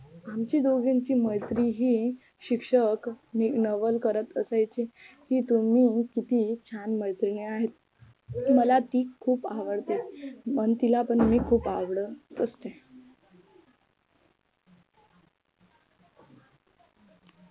आमच्या दोघांची मैत्रीही शिक्षक नवल करत असायचे तुम्ही किती छान मैत्रिणी आहेत मला ती खूप आवडते आणि तिला पण मी खूप आवडत असते.